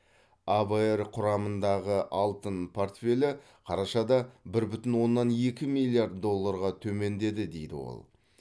авр құрамындағы алтын портфелі қарашада бір бүтін оннан екі миллиард долларға төмендеді дейді ол